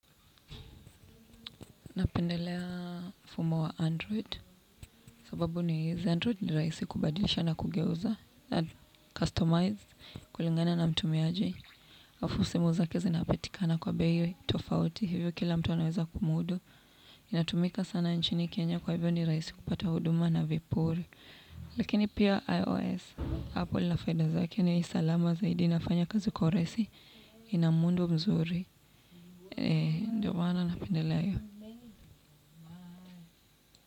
Napendelea mfumo wa android, sababu ni hizi, android ni rahisi kubadilisha na kugeuza, na kustomize kulingana na mtumiaji. Alafu usimu zake zinapatikana kwa bei tofauti, hivyo kila mtu anaweza kumudu. Inatumika sana nchini Kenya kwa hivyo ni rahisi kupata huduma na vipuri. Lakini pia iOS, Apple inafaida zake ni salama zaidi, inafanya kazi kua rahisi inamuundu mzuri. Ndiyo maana napendelea hiyo.